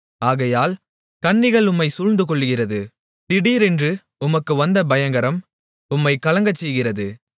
ஆகையால் கண்ணிகள் உம்மைச் சூழ்ந்திருக்கிறது திடீரென்று உமக்கு வந்த பயங்கரம் உம்மைக் கலங்கச் செய்கிறது